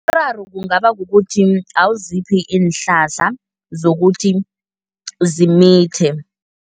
Umraro kungaba kukuthi awuziphi iinhlahla zokuthi zimithe.